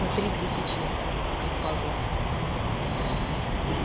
на три тысячи п пазлов